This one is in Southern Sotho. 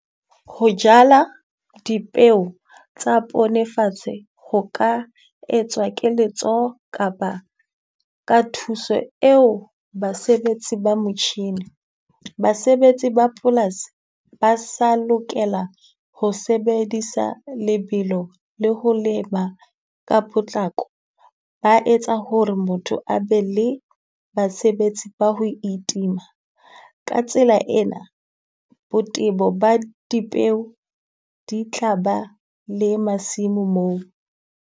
Ho jala dipeo tsa pone fatshe ho ka etswa ke letsoho kapa ka thuso eo basebetsi ba motjhini, basebetsi ba polasi ba sa lokela ho sebedisa lebelo le ho lema ka potlako. Ba etsa ho re motho a be le basebetsi ba ho itima. Ka tsela ena, botebo ba dipeo di tla ba le masimo moo.